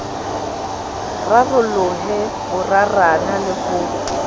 rarolohe bo rarana le ho